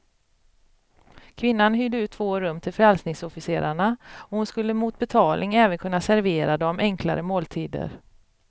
Kvinnan hyrde ut två rum till frälsningsofficerarna, och hon skulle mot betalning även kunna servera dem enklare måltider.